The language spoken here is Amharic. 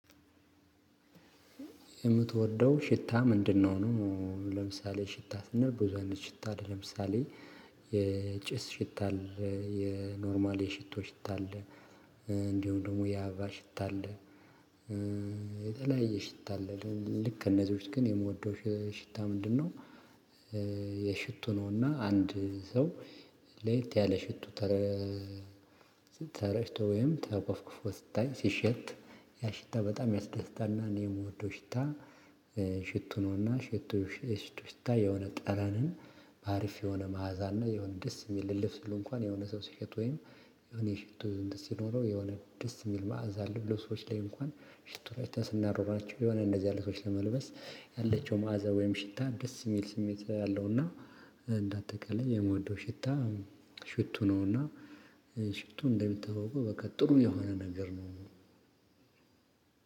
የምትወደው ሽታ ምንድነው? ነው ለምሳሌ ሽታ ስንል ብዙ አይነት ሽታ ለምሳሌ የጭስ ሽታ፤ የኖርማል የሽቶ ሽታ፤ እንዲሁም ደግሞ የአበባ ሽታ አለ፤ የተለያዬ ሽታ አለ። ልክ ከእነዚህ ውጭ ግን የምወደው ሽታ ምንድነው? የሽቶ ነውና አንድ ሰው ለየት ያለ ሽቶ ተረጭቶ ወይም ተኮፍክፎ ስታይ ሲሸት ያ ሽታ በጣም ያስደስታልና እኔ የምወደው ሽታ ሽቶ ነውና ሽቱ የሽቱ ሽታ የሆነ ጠረንን በአሪፍ የሆነ መዓዛ አለው። የሆነ ደስ የሚል እልፍ ስሉ እንኳን የሆነ ሰው ሲሸት ወይም የሆነ ሽቶ እንትን ሲኖረው የሆነ ደስ የሚል ማዕዛ አለው ልብሶች ላይ እንኳን ሽቶ ረጭተን ስናደርጋቸው የሆነ እንደዚህ አለ ልብሶች ለመልበስ ያለችው ማዕዛ ወይም ሽታ ደስ የሚል ስሜት ነው ያለው እና እንደ አጠቃላይ የምወደው ሽታ ሽቶ ነው። እና ሽቱ እንደሚታወቀው በቃ ጥሩ የሆነ ነገር ነው።